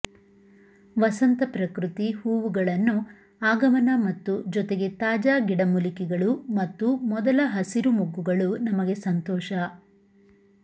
ವಸಂತ ಪ್ರಕೃತಿ ಹೂವುಗಳನ್ನು ಆಗಮನ ಮತ್ತು ಜೊತೆಗೆ ತಾಜಾ ಗಿಡಮೂಲಿಕೆಗಳು ಮತ್ತು ಮೊದಲ ಹಸಿರು ಮೊಗ್ಗುಗಳು ನಮಗೆ ಸಂತೋಷ